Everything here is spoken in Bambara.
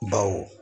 Baw